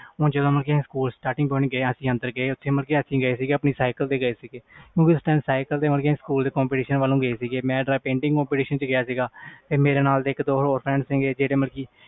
ਹੁਣ ਜਦੋ ਅਸੀਂ ਗਏ ਮਤਬਲ ਆਪਣੀ ਸਾਈਕਲ ਤੇ ਗਏ ਸੀ ਕਿਉਕਿ ਉਸ time ਸਕੂਲ competition ਵਲੋਂ ਗਏ ਸੀ ਮੈਂ painting competition ਵਿਚ ਗਿਆ ਮੇਰੇ ਨਾਲ ਇਕ ਦੋ ਹੋਰ friends ਸੀ ਜਿਹੜੇ ਮਤਬਲ ਕਿ